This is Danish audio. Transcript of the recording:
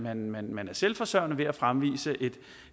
at man man er selvforsørgende ved at fremvise